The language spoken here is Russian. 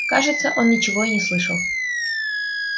кажется он ничего и не слышал